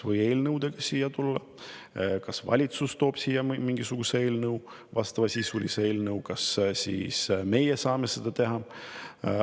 Võib ka eelnõudega siia tulla, valitsus võib tuua siia mingisuguse eelnõu ja ka meie saame seda teha.